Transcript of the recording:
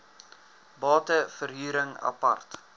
bate verhuring apart